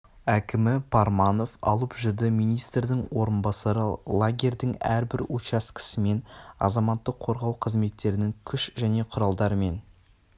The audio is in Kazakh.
әкімі парманов алып жүрді министрдің орынбасары лагерьдің әрбір учаскесімен азаматтық қорғау қызметтерінің күш және құралдарымен